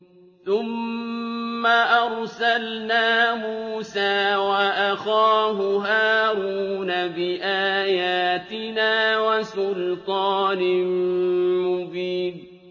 ثُمَّ أَرْسَلْنَا مُوسَىٰ وَأَخَاهُ هَارُونَ بِآيَاتِنَا وَسُلْطَانٍ مُّبِينٍ